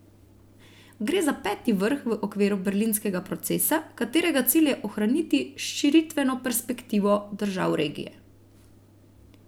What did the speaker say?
Gre za peti vrh v okviru berlinskega procesa, katerega cilj je ohraniti širitveno perspektivo držav regije.